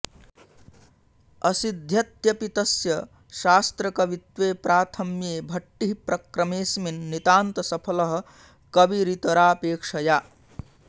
असिध्यत्यपि तस्य शास्त्रकवित्वे प्राथम्ये भट्टिः प्रक्रमेऽस्मिन् नितान्तसफलः कविरितरापेक्षया